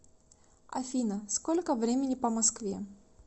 афина сколько времени по москве